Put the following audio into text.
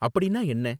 அப்படின்னா என்ன?